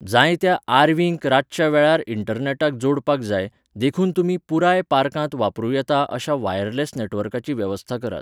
जायत्या आर.व्हीं. क रातच्या वेळार इंटरनॅटाक जोडपाक जाय, देखून तुमी पुराय पार्कांत वापरूं येता अशा वायरलेस नेटवर्काची वेवस्था करात.